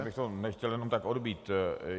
Já bych to nechtěl jenom tak odbýt.